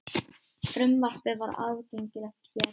Frumvarpið er aðgengilegt hér